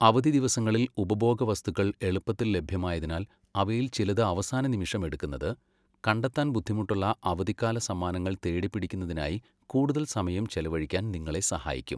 അവധി ദിവസങ്ങളിൽ ഉപഭോഗവസ്തുക്കൾ എളുപ്പത്തിൽ ലഭ്യമായതിനാൽ അവയില് ചിലത് അവസാന നിമിഷം എടുക്കുന്നത്, കണ്ടെത്താൻ ബുദ്ധിമുട്ടുള്ള അവധിക്കാല സമ്മാനങ്ങൾ തേടിപ്പിടിക്കുന്നതിനായി കൂടുതല് സമയം ചെലവഴിക്കാൻ നിങ്ങളെ സഹായിക്കും.